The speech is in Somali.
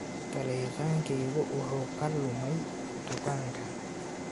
Taleefankaygu wuxuu ka lumay dukaanka